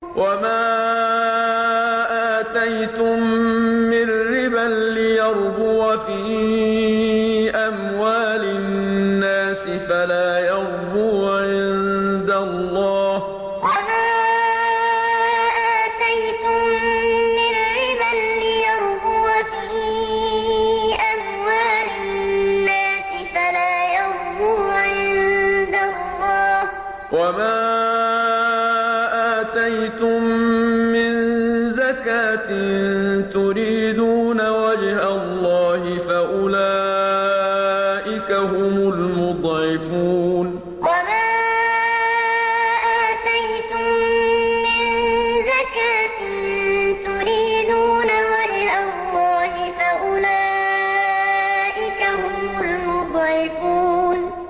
وَمَا آتَيْتُم مِّن رِّبًا لِّيَرْبُوَ فِي أَمْوَالِ النَّاسِ فَلَا يَرْبُو عِندَ اللَّهِ ۖ وَمَا آتَيْتُم مِّن زَكَاةٍ تُرِيدُونَ وَجْهَ اللَّهِ فَأُولَٰئِكَ هُمُ الْمُضْعِفُونَ وَمَا آتَيْتُم مِّن رِّبًا لِّيَرْبُوَ فِي أَمْوَالِ النَّاسِ فَلَا يَرْبُو عِندَ اللَّهِ ۖ وَمَا آتَيْتُم مِّن زَكَاةٍ تُرِيدُونَ وَجْهَ اللَّهِ فَأُولَٰئِكَ هُمُ الْمُضْعِفُونَ